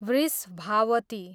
Vrishabhavati